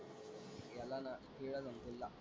ह्याला ना ,